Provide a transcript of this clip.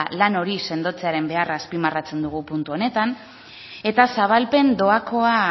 lan hori sendotzearen beharra azpimarratzen dugu puntu honetan eta zabalpen doakoa